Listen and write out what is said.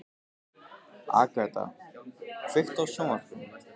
Agata, kveiktu á sjónvarpinu.